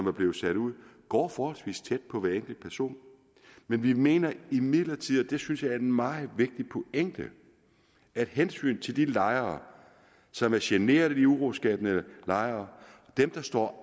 er blevet sat ud går forholdsvis tæt på hver enkelt person men vi mener imidlertid og det synes jeg er en meget vigtig pointe at hensynet til de lejere som er generet af de uroskabende lejere dem der står